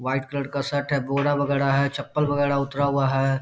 White colour का shirt है। बोरा वगैरा है। चप्पल वगैरा उतरा हुआ है।